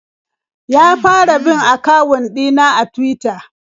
Ya fara bin akawun ɗina a Tuwita.